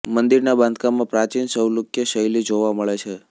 મંદિરના બાંધકામમાં પ્રાચીન ચૌલુક્ય શૈલી જોવા મળે છે